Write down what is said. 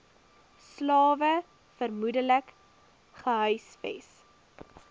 slawe vermoedelik gehuisves